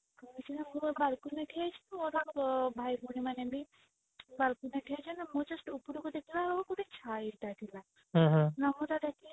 ମୁଁ balcony ରେ ଛିଡା ହେଇଛି ମୋ ଭାଇ ଭଉଣୀ ମାନେ ବି balcony ରେ ଠିଆ ହେଇଛନ୍ତି ମୁଁ just ଉପରକୁ ଦେଖିଲା ବେଳକୁ ଗୋଟା ଛାଇଟା ଥିଲା